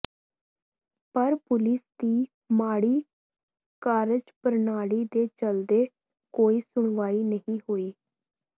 ਪਰ ਪੁਲਿਸ ਦੀ ਮਾੜੀ ਕਾਰਜਪ੍ਰਣਾਲੀ ਦੇ ਚੱਲਦੇ ਕੋਈ ਸੁਣਵਾਈ ਨਹੀਂ ਹੋਈ